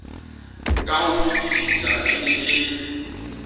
ka hofetisisa e ne e